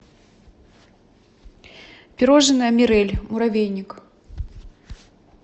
пирожное мирель муравейник